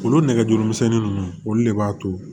Olu nɛgɛjuru misɛnnin ninnu olu de b'a to